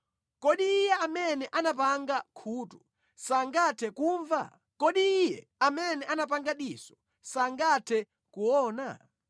Kodi Iye amene anapanga khutu sangathe kumva? Kodi Iye amene anapanga diso sangathe kuona?